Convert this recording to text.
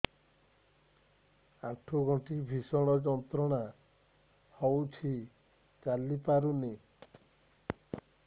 ଆଣ୍ଠୁ ଗଣ୍ଠି ଭିଷଣ ଯନ୍ତ୍ରଣା ହଉଛି ଚାଲି ପାରୁନି